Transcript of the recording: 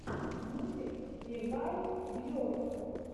мультик ревайвйорселф